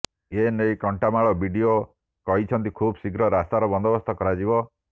ଏନେଇ କଣ୍ଟାମାଳ ବିଡିଓ କହିଛନ୍ତି ଖୁବ୍ ଶୀଘ୍ର ରାସ୍ତାର ବନ୍ଦୋବସ୍ତ କରାଯିବ